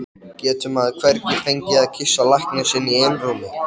Getur maður hvergi fengið að kyssa lækninn sinn í einrúmi?